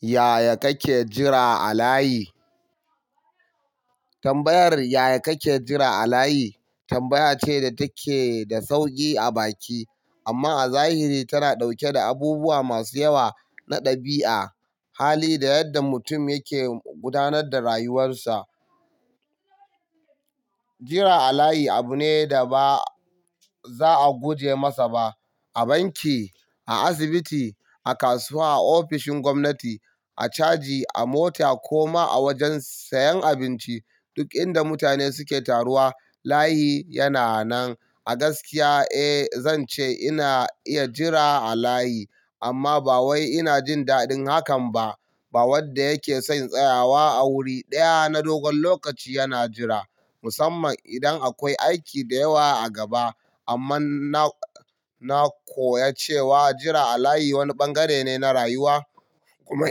Yaya kake jira a layi? Tambayar yaya kake jira a layi tambaya ce da take da sauki a baki amma a zahiri tana ɗauke da abubuwa masu yawa na ɗabi'a, hali da yadda mutum yake gudanar da rayuwarsa. Jira a layi abu ne da ba za a guje masa ba. A banki, a asibiti, a kasuwa, a ofishin gwamnati, a caji, a mota kuma a wajen sayan abinci. Duk inda mutane suke taruwa layi yana nan. A gaskiya, eh zan ce ina iya jira a layi amma ba wai ina jin daɗin hakan ba. Ba wanda yake son tsayawa a wuri ɗaya na dogon lokaci yana jira, musamman idan akwai aiki da yawa a gaba. Amma na, na koya cewa jira a layi wani bangare ne na rayuwa. Kuma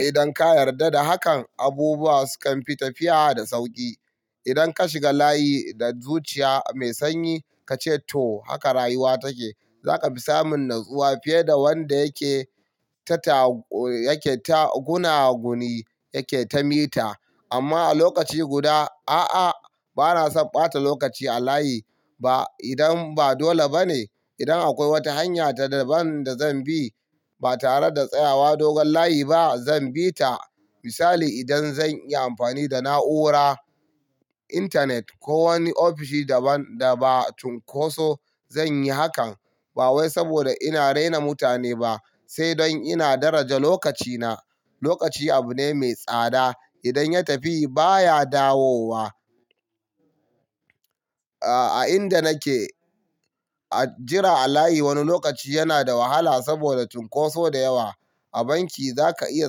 idan ka yarda da hakan, abubuwa sukan fi tafiya da sauƙi. Idan ka shiga layi da zuciya mai sanyi ka ce to haka rayuwa take, za ka fi samun natsuwa fiye da wanda yake ta, yake ta guna guni, yake ta mita. Amma a lokaci guda, a'a, ba na son ɓata lokaci a layi ba idan ba dole ba ne. Idan akwai wata hanya da ban da zan bi ba tare da tsayawa dogon layi ba zan bi ta. Misali, idan zan yi amfani da na'ura, intanet ko wani ofishi da ba, da ba tunkoso zan yi hakan. Ba wai saboda ina raina mutane ba, sai don ina daraja lokacina. Lokaci abu ne mai tsada. Idan ya tafi baya dawowa. A, a inda nake jira a layi wani lokaci yana da wahala saboda tunkoso da yawa. A banki za ka iya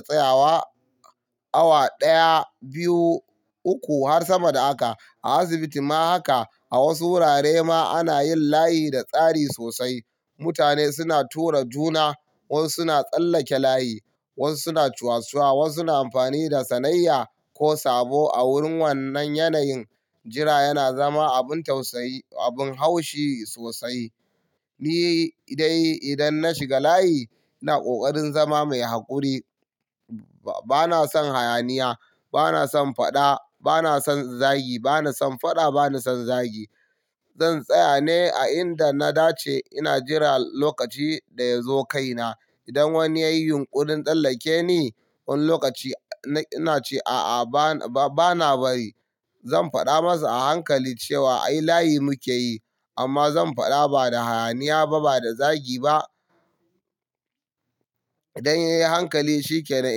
tsayawa awa ɗaya, biyu, uku har sama da haka. A asibiti ma haka. A wasu wurare ma ana yin layi da tsari sosai. Mutane suna tura juna, wasu suna tsallake layi, wasu suna cuwacuwa, wasu na amfani da sanayya ko sabo. A wurin wannan yanayin jira yana zama abin tausayi, abin haushi sosai. Ni dai idan na shiga layi ina ƙoƙarin zama mai haƙuri. Ba na son hayaniya, ba na son faɗa, ba na son zagi, ba na son faɗa, ba na son zagi. Zan tsaya ne a inda na dace ina jira lokaci da ya zo kai na. Idan wani ya yi yunƙurin tsallake ni wani lokaci ina ce a'a, ba, ba na bari. Zan faɗa masa a hankali cewa ai layi muke yi amma zan faɗa ba da hayaniya ba, ba da zagi ba. Idan ya yi hankali shi ƙane.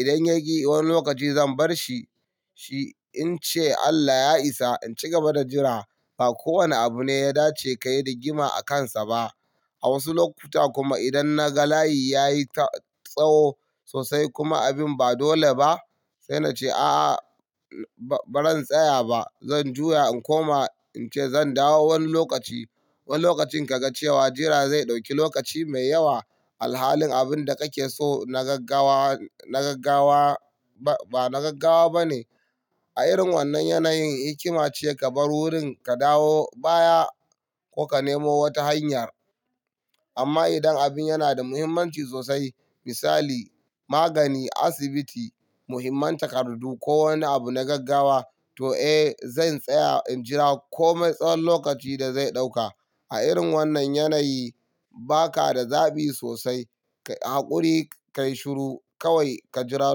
Idan ya ƙi wani lokaci zan barshi, shi in ce Allah ya isa in ci gaba da jira. Ba kowane abu ne ya dace ka yi rigima akansa ba. A wasu lokuta kuma idan na ga layi ya yi ta tsaho sosai kuma abin ba dole ba, sai na ce a'a ba zan tsaya ba. Zan juya in koma in ce zan dawo wani lokaci. Wani lokacin ka ga cewa jira zai ɗauki lokaci mai yawa. Halin abin da kake so na gaggawa, na gaggawa ba na gaggawa ba ne. A irin wannan yanayin hikima ce ka bar wurin ka dawo baya ko ka nemo wata hanyar. Amma idan abin yana da muhimmanci sosai misali magani, asibiti, muhimman takardu ko wani abu na gaggawa to eh zan tsaya in jira kome tsahon lokaci da zai ɗauka. A irin wannan yanayi ba ka da zaɓi sosai. Ka yi haƙuri, ka yi shiru kawai ka jira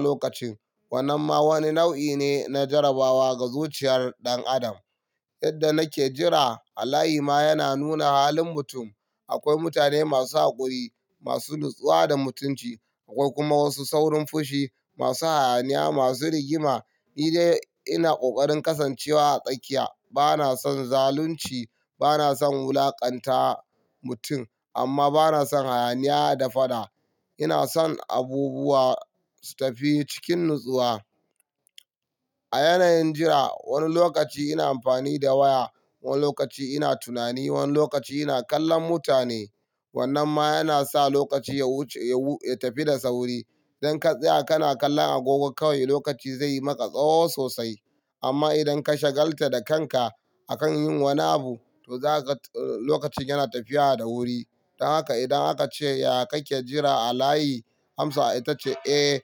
lokacin. Wannan ma wani nau'i ne na jarabawa ga zuciyar ɗan adam. Yadda nake jira a layi ma yana nuna halin mutum. Akwai mutane masu haƙuri, masu natsuwa da mutunci. Akwai kuma wasu saurin fushi, masu hayaniya, masu rigima. Ni dai ina ƙoƙarin kasancewa a tsaƙiya. Ba na son zalunci, ba na son wulaƙanta mutum amma ba na son hayaniya da faɗa. Ina son abubuwa su tafi cikin natsuwa. A yanayin jira wani lokaci ina amfani da waya, wani lokaci ina tunani, wani lokaci ina kallon mutane. Wannan ma yana sa lokaci ya wuce, ya tafi da sauri. Idan ka tsaya kana kallon agogo kawai lokaci zai maka tsaho sosai. Amma idan ka shagalta da kanka akan yin wani abu to zaka, lokacin yana tafiya da wuri. Don haka idan aka ce yaya kake jira a layi Hamsatu ta ce, "Eh, eh."